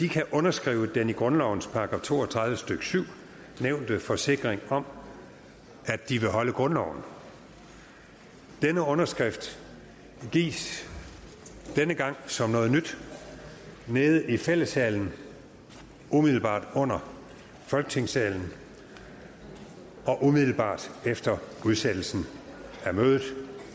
kan underskrive den i grundlovens § to og tredive stykke syv nævnte forsikring om at de vil holde grundloven denne underskrift gives denne gang som noget nyt nede i fællessalen umiddelbart under folketingssalen og umiddelbart efter udsættelsen af mødet